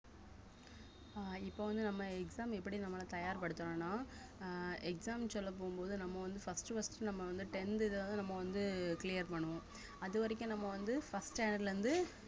அஹ் இப்ப வந்து நம்ம exam எப்படி நம்மளை தயார்படுத்தணும்ன்னா அஹ் exam சொல்லப் போகும்போது நம்ம வந்து first உ first உ நம்ம வந்து tenth இததான் நம்ம வந்து clear பண்ணுவோம் அது வரைக்கும் நம்ம வந்து first standard ல இருந்து